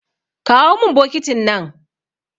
Kawo min bokitin nan.